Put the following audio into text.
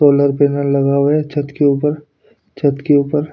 solar panel लगा हुआ है छत के ऊपर छत के ऊपर--